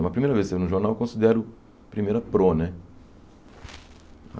Mas a primeira vez que saiu no jornal, eu considero a primeira pro, né?